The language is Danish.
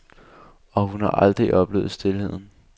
Og hun har aldrig oplevet stilheden.